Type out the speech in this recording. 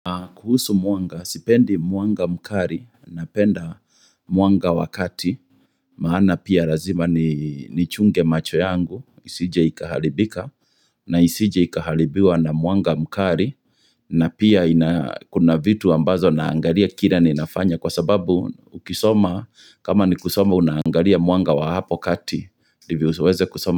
Kuhusu mwanga, sipendi mwanga mkari, napenda mwanga wakati, maana pia lazima ni chunge macho yangu, isije ikahalibika, na isije ikahalibiwa na mwanga mkari, na pia kuna vitu ambazo naangalia kila ninafanya kwa sababu ukisoma, kama ni kusoma unaangalia mwanga wa hapo kati, ndivyo uweze kusoma.